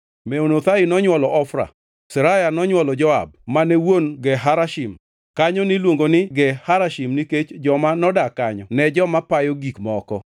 Meonothai nonywolo Ofra. Seraya nonywolo Joab mane wuon Ge Harashim. Kanyo niluongo ni Ge Harashim nikech joma nodak kanyo ne joma payo gik moko.